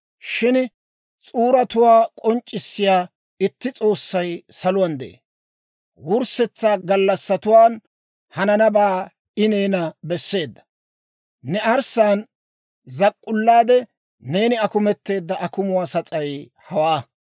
Shin s'uuratuwaa k'onc'c'issiyaa itti S'oossay saluwaan de'ee. Wurssetsa gallassatuwaan hananabaa I neena besseedda. Ne arssaan zak'k'ullaade, neeni akumetteedda akumuunne sas'ay hawaa.